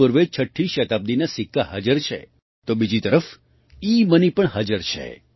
પૂર્વે છઠ્ઠી શતાબ્દિના સિક્કા હાજર છે તો બીજી તરફ ઇમની પણ હાજર છે